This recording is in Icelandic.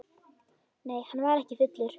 Nei, hann var ekki fullur.